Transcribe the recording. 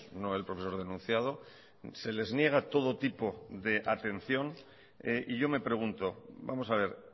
no el profesor denunciado se les niega todo tipo de atención y yo me pregunto vamos a ver